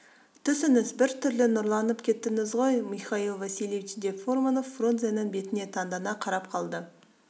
түсіңіз бір түрлі нұрланып кеттіңіз ғой михаил васильевич деп фурманов фрунзенің бетіне таңдана қарап қалды